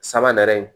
Sabanan